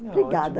Obrigada.